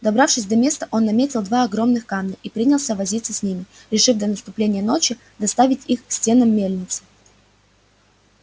добравшись до места он наметил два огромных камня и принялся возиться с ними решив до наступления ночи доставить их к стенам мельницы